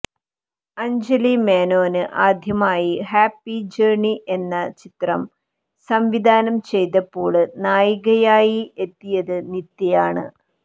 അഞ്ജലി മേനോന് ആദ്യമായി happy journey എന്ന ചിത്രം സംവിധാനം ചെയ്തപ്പോള് നായികയായി എത്തിയത് നിത്യയാണ്